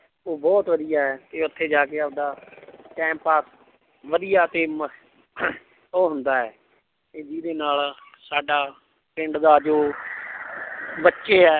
ਉਹ ਬਹੁਤ ਵਧੀਆ ਹੈ ਤੇ ਉੱਥੇ ਜਾ ਕੇ ਆਪਦਾ time ਪਾਸ ਵਧੀਆ ਤੇ ਮ~ ਉਹ ਹੁੰਦਾ ਹੈ ਤੇ ਜਿਹਦੇ ਨਾਲ ਸਾਡਾ ਪਿੰਡ ਦਾ ਜੋ ਬੱਚੇ ਹੈ।